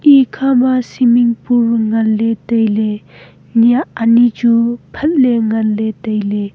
ekhama swimming pool nganle taile nyah anyi chu phat le taile.